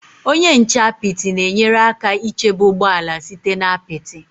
Onye nche apịtị na-enyere aka ichebe ụgbọ ala site na apịtị.